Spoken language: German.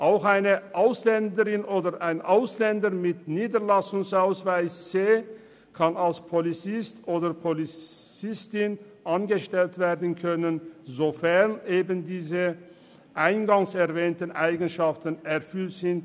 Auch eine Ausländerin oder ein Ausländer mit Niederlassungsbewilligung C soll als Polizistin oder Polizist angestellt werden können, sofern eben diese eingangs erwähnten Eigenschaften erfüllt sind.